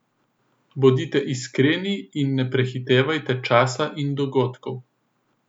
Bodite iskreni, in ne prehitevajte časa in dogodkov.